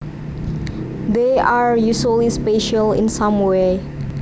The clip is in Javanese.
They are usually special in some way